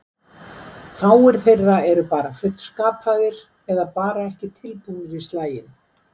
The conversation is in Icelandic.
Fáir þeirra eru bara fullskapaðir, eða bara ekki tilbúnir í slaginn.